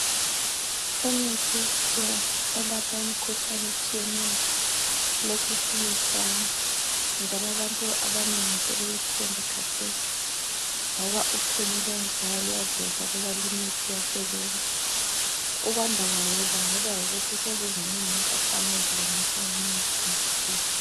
Imithi yesikhiwa elapha imikhuhlane etshiyeneyo lokhe isiya isanda njalo abantu abanengi sebeyithemba khathesi, ngoba uphenyo olwenziwayo luyaveza ukuba leyi imithi iyasebenza. Ukwanda kwayo kubangelwa yikuthi sezizinengi ikampani ezilungisa imithi yesikhiwa.